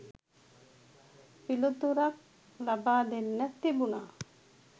පිලිතුරක් ලබා දෙන්න තිබුනා.